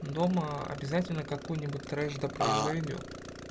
дома обязательно какоё-нибудь трэш да произойдёт